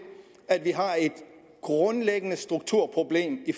at vi har et grundlæggende strukturproblem i